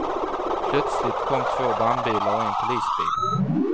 Plötsligt kom två brandbilar och en polisbil.